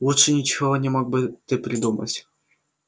лучше ничего не мог бы ты придумать